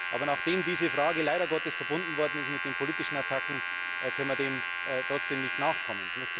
Aber nachdem diese Frage leider verbunden worden ist mit den politischen Attacken, können wir dem trotzdem nicht nachkommen.